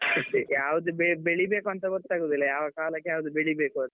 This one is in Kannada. ಯಾವ್ದು ಬೆ~ ಬೆಳೀಬೇಕು ಅಂತ ಗೊತ್ತಾಗುದಿಲ್ಲ ಯಾವ ಕಾಲಕ್ಕೆ ಯಾವ್ದು ಬೆಳೀಬೇಕಂತ.